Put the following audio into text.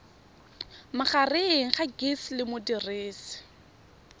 magareng ga gcis le modirisi